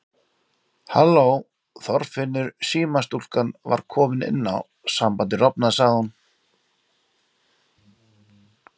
Halló Þorfinnur símastúlkan var komin inn á, sambandið rofnaði sagði hún.